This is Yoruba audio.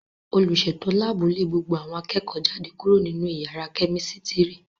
Olùsètò láàbù lé gbogbo àwọn akẹ́kọ̀ọ́ jáde kúrò nínú yàrá kẹ́mísítírì